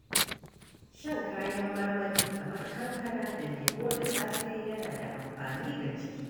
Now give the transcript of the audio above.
Shan kayan marmari kamar kankana da lemu da safe yana da amfani ga jiki.